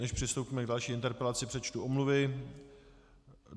Než přistoupíme k další interpelaci, přečtu omluvy.